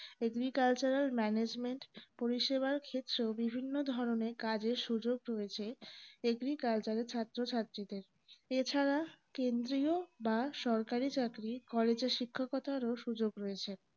agriculturalmanagement পরিসেবার ক্ষেত্রেও বিভিন্নও ধরনের কাজের সুযোগ রয়েছে agriculture এ ছাত্রছাত্রিদের এছাড়া কেন্দ্রিয় বা সরকারি চাকরি college এ শিক্ষকতারও সুযোগ রয়েছে